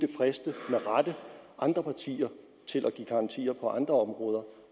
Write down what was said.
friste andre partier til at give garantier på andre områder